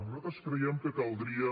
nosaltres creiem que caldria